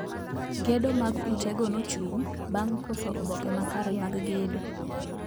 Gedo mag ute go nochung` bang` koso oboke makare mag gedo